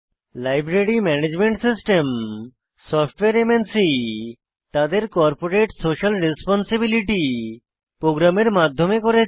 library management system software MNC তাদের corporate social responsibility প্রোগ্রামের মাধ্যমে করেছে